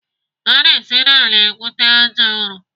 Ana esi n'ala egwute àjà ụrọ.